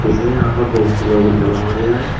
वैसे यहां पर बहोत से लोग जमा हो रहे हैं।